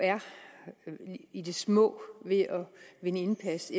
i det små er ved at vinde indpas